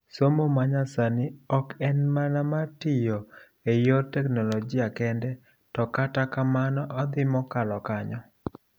Somo manyasani ok en mana mar tiyo eyor teknologia kende to kata kamano odhi mokalo kanyo.